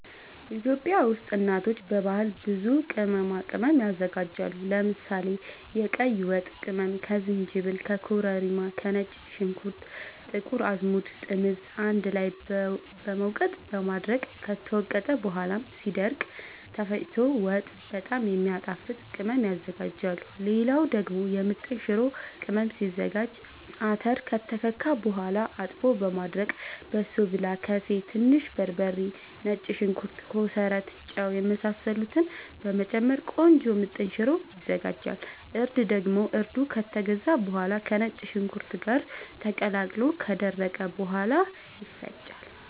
ኢትዮጵያ ውስጥ እናቶች በባህል ብዙ ቅመማ ቅመም ያዘጋጃሉ። ለምሳሌ፦ የቀይ ወጥ ቅመም ከዝንጅብል፣ ከኮረሪማ፣ ከነጭ ሽንኩርት፣ ጥቁር አዝሙድ፣ ጥምዝ አንድ ላይ በመውቀጥ በማድረቅ ከተወቀጠ በኋላ ሲደርቅ ተፈጭቶ ወጥ በጣም የሚያጣፋጥ ቅመም ያዝጋጃሉ። ሌላ ደግሞ የምጥን ሽሮ ቅመም ሲዘጋጅ :- አተር ከተከካ በኋላ አጥቦ በማድረቅ በሶብላ፣ ከሴ፣ ትንሽ በርበሬ፣ ነጭ ሽንኩርት፣ ኮሰረት፣ ጫው የመሳሰሉትን በመጨመር ቆንጆ ምጥን ሽሮ ይዘጋጃል። እርድ ደግሞ እርዱ ከተገዛ በኋላ ከነጭ ሽንኩርት ጋር ተቀላቅሎ ከደረቀ በኋላ ይፈጫል።